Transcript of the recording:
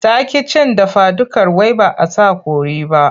Ta ƙi cin dafadukar wai ba a sa kori ba.